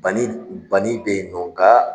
Bani bani bɛ ye nɔ nga